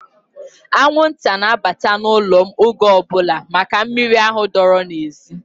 Anwụnta na-abata n'ụlọ m oge ọbụla maka miri ahụ dọọrọ n'ezi.